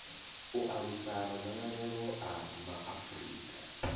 u alusa madzangalelo a maafurika